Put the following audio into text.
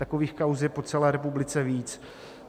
Takových kauz je po celé republice víc.